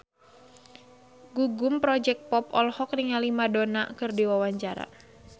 Gugum Project Pop olohok ningali Madonna keur diwawancara